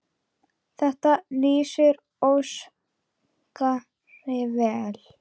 Þetta lýsir Óskari vel.